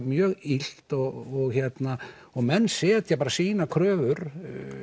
mjög illt og menn setja sínar kröfur